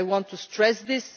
I want to stress